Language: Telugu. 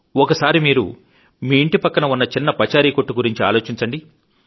ఒకసారి మీరు మీఇంటి ప్రక్కన ఉన్న చిన్న పచారి కొట్టు గురించి ఆలోచించండి